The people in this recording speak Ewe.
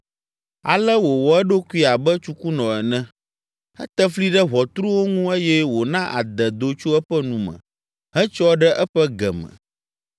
Ale wòwɔ eɖokui abe tsukunɔ ene! Ete fli ɖe ʋɔtruwo ŋu eye wòna ade do tso eƒe nu me hetsyɔ ɖe eƒe ge me.